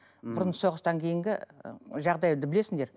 бұрын соғыстан кейінгі жағдайды білесіңдер